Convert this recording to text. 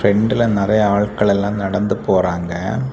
பிரண்ட்ல நெறைய ஆள்க்கள் எல்லா நடந்து போறாங்க.